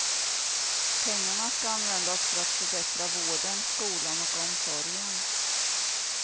Pengarna ska användas för att förbättra vården, skolan och omsorgen.